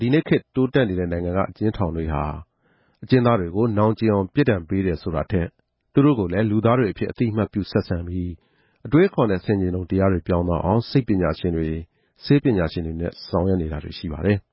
ဒီနေ့ခေတ် တိုးတက်နေတဲ့နိုင်ငံတွေမှာ အကျဉ်းသားတွေကို နောင်ကြဉ်အောင် ပြစ်ဒဏ်ပေးတယ်ဆိုတာထက် သူတို့ကိုလည်း လူသားတွေအဖြစ် အသိအမှတ်ပြုဆက်ဆံပြီး၊ အတွေးအခေါ်နဲ့ဆင်ခြင်တုံတရားတွေ ပြောင်းသွားအောင် စိတ်ပညာရှင်တွေ၊ ဆေးပညာရှင်တွေနဲ့ ဆောင်ရွက်နေတာတွေ ရှိပါတယ်။